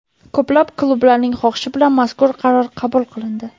Ko‘plab klublarning xohishi bilan mazkur qaror qabul qilindi.